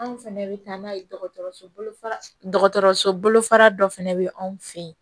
Anw fɛnɛ bɛ taa n'a ye dɔgɔtɔrɔso bolofara dɔgɔtɔrɔso bolofara dɔ fana bɛ anw fɛ yen